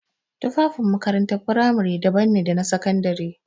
Tufafin makarantar firamare daban ne da sakandare.